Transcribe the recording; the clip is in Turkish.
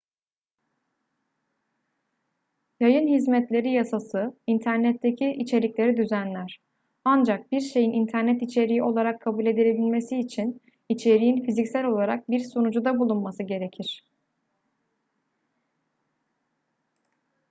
yayın hizmetleri yasası internetteki içerikleri düzenler ancak bir şeyin internet içeriği olarak kabul edilebilmesi için içeriğin fiziksel olarak bir sunucuda bulunması gerekir